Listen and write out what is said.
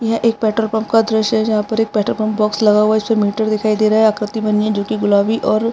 एक एक petrol pump का दृश्य है जहाँ पर एक पेट्रोल पंप बॉक्स लगा हुआ है उसपे मीटर दिखाई दे रहा है आकृति बानी है जो की गुलाबी और --